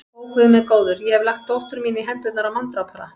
Ó, Guð minn góður, ég hef lagt dóttur mína í hendurnar á manndrápara.